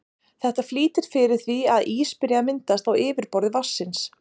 Þetta flýtir fyrir því að ís byrji að myndast á yfirborði vatnsins.